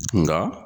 Nka